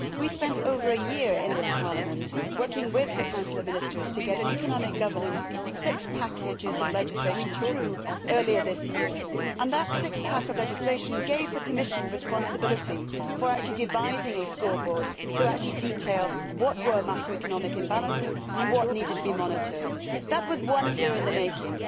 We spent over a year in this Parliament working with the Council of Ministers to get an economic governance six pack' of legislation through earlier this year and that six pack' of legislation gave the Commission responsibility for devising a scoreboard to detail what were macroeconomic imbalances and what needed to be monitored. That was one year in the making.